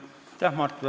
Aitäh, Mart!